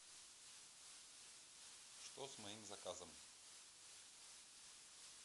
что с моим заказом